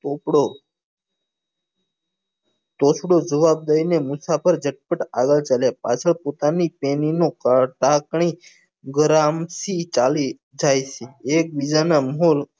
કુકડો તોછડું જવાબ દઈ ને મુસાફર જટ પટ આગળ ચાલ્યા પાછળ પોતાની તેણીનું ચાલી જાય છે એક બીજા નાં મોહન